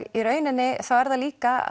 í rauninni þá er það líka